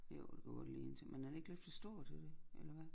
Jo det kunne godt ligne til men er det ikke lidt for stor til det eller hvad